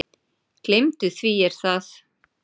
Gleymdu því Er það?